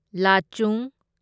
ꯂꯥꯆꯨꯡ